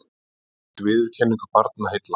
Hlaut viðurkenningu Barnaheilla